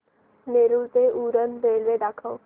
नेरूळ ते उरण रेल्वे दाखव